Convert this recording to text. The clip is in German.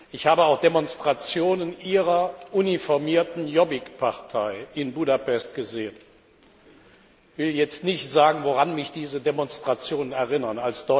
Ich habe auch Demonstrationen Ihrer uniformierten Jobbik Partei in Budapest gesehen. Ich will jetzt nicht sagen, woran mich diese Demonstrationen erinnern.